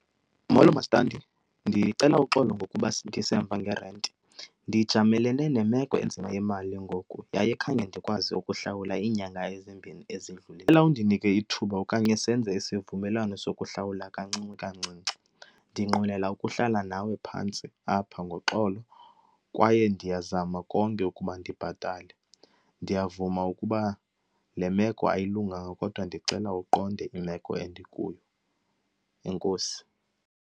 Molo, mastandi. Ndicela uxolo ngokuba ndisemva ngerenti, ndijamelene nemeko enzima yemali ngoku yaye khange ndikwazi ukuhlawula iinyanga ezimbini . Ndicela undinike ithuba okanye senze isivumelwano sokuhlawula kancinci kancinci. Ndinqwenela ukuhlala nawe phantsi apha ngoxolo kwaye ndiyazama konke ukuba ndibhatale. Ndiyavuma ukuba le meko ayilunganga kodwa ndicela uqonde imeko endikuyo. Enkosi.